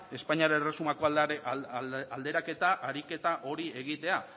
espainiar erresumako alderaketa ariketa hori egitea